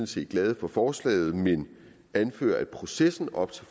set glade for forslaget men anfører at processen op til